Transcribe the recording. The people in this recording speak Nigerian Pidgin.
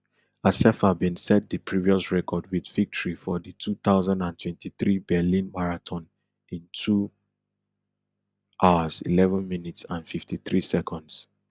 assefa bin set di previous record wit victory for di two thousand and twenty-three berlin marathon in two hours eleven minutes and fifty-three seconds